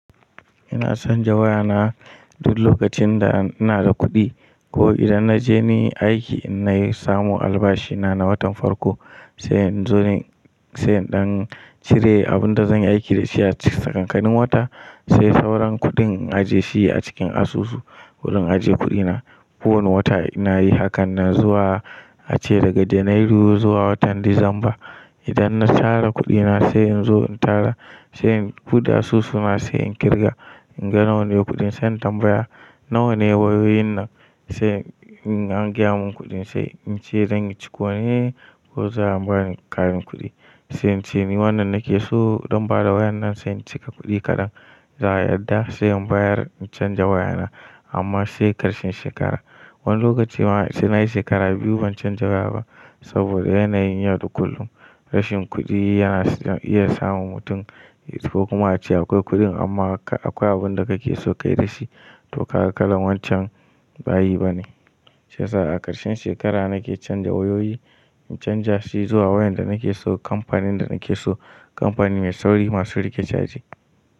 Ina canza wayana duk lokacin da ina da kuɗi ko idan na je ni aiki inna yi samu albashi na na watan farko sai in zo ne sai in ɗan cire abin da zan aiki da shi a tsakankanin wata sai sauran kuɗin in ajiye shi a cikin asusu. Wurin aje kuɗina. Kowane wata ina yi hakan nan zuwa ace daga janairu zuwa watan disamba. Idan na tara kuɗi na sai in zo in tara sai in buɗe asusu na sai in ƙirga in ga nawa ne kuɗin sai in tambaya nawane wayoyin nan sai an gyara mun kuɗin sai in ce zanyi ciko ne ko za a mun ƙarin kuɗi. Sai in ce ni wannan nake so zan bada wayar nan sai in cika kuɗi kaɗan. Za a yadda sai in bayar in canza wayana amma sai ƙarshen shekara. Wani lokaci ma sai na yi shekara biyu ban canza waya ba saboda yanayin yau da kullum. Rashin kuɗi yana iya sa mutum ya tafi kuma ya ce akwai kuɗin amma akwai abin da kake so kayi da shi to ka ga kalan wancan bayi ba ne. Shi yasa a ƙarshen shekara nake canza wayoyi. In canza shi zuwa wayar da nake so kamfanin da nake so. Kamfani mai sauri masu riƙe caji.